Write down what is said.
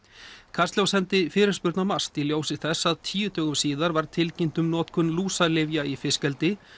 kastljós sendi fyrirspurn á MAST í ljósi þess að tíu dögum síðar var tilkynnt um notkun lúsalyfja í fiskeldi